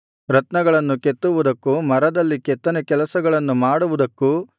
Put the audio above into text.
ರತ್ನಗಳನ್ನು ಕೆತ್ತುವುದಕ್ಕೂ ಮರದಲ್ಲಿ ಕೆತ್ತನೇ ಕೆಲಸಗಳನ್ನು ಮಾಡುವುದಕ್ಕೂ